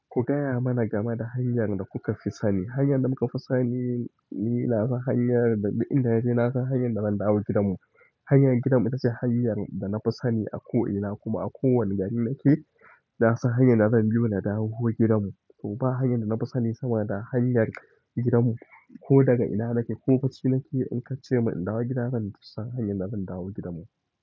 Ku gaya mana game da hanyar da kuka fi sani. Hanyar da muka fi sani, ni na san hanyar da, inda yana na san hanyar da zan dawo gidanmu. Hanyar gidanmu ita ce hanyar da na fi sani a ko ina kuma a kowane gari nake, na san hanyar da zan bi yo na dawo gidanmu. To ba hanyar da na fi sani sama da hanyar gidanmu. Ko daga ina nake ko bacci nake in ka ce min in dawo gida, zan fi san hanyar da zan dawo gidanmu.